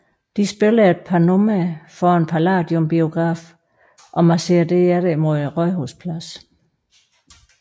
De spiller et par numre foran Palladium biografen og marcherer derefter mod Rådhuspladsen